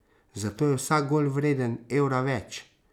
Zato je vsak gol vreden evra več.